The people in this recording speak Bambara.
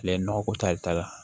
Ale ye nɔgɔ ko tari la